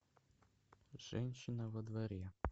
женщина во дворе